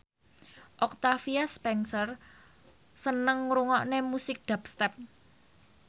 Octavia Spencer seneng ngrungokne musik dubstep